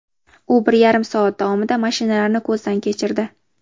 U bir yarim soat davomida mashinalarni ko‘zdan kechirdi.